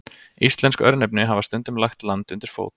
Íslensk örnefni hafa stundum lagt land undir fót.